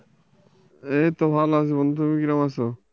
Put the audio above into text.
এইতো ভালো আছি বন্ধু তুমি কিরকম আছো?